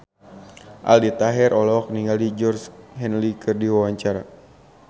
Aldi Taher olohok ningali Georgie Henley keur diwawancara